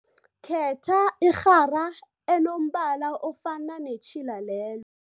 Khetha irhara enombala ofana netjhila lelo.